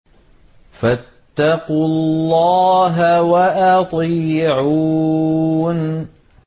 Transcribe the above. فَاتَّقُوا اللَّهَ وَأَطِيعُونِ